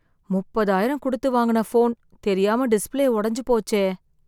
முப்பதாயிரம் கொடுத்து வாங்குன ஃபோன் , தெரியாம டிஸ்ப்ளே ஒடஞ்சு போச்சே